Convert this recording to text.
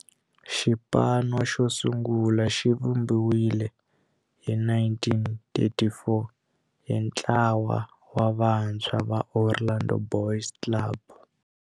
Xipano xo sungula xivumbiwile hi 1934 hi ntlawa wa vantshwa va Orlando Boys Club.